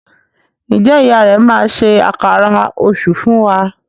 Njé ìyá rẹ má ṣe Àkàrà Òṣú fún wá?